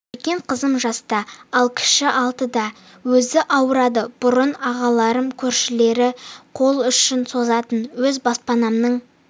үлкен қызым жаста ал кіші алтыда өзі ауырады бұрын ағаларым көршілер қол ұшын созатын өз баспанамның